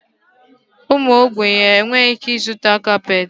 Ụmụ ogbenye enweghị ike ịzụta kapeeti.